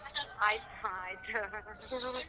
ಆಯ್ತು ಹಾ ಆಯ್ತು .